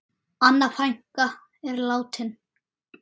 Anna frænka er látin.